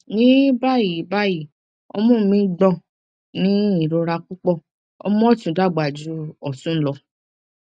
ní báyìí báyìí ọmú mi ń gbò ní irora púpọ ọmú ọtún dàgbà ju ọtún lọ